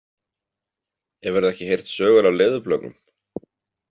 Hefurðu ekki heyrt sögur af leðurblökum?